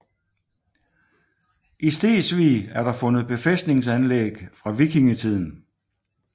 I Stegsvig er der fundet befæstningsanlæg fra vikingetiden